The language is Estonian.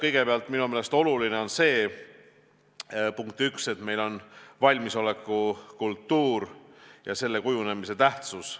Kõigepealt, minu meelest väga oluline on see, et me peame valmisoleku kultuuri tähtsaks.